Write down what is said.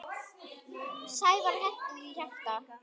Sævar henti því hjarta.